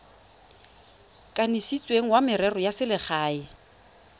kanisitsweng wa merero ya selegae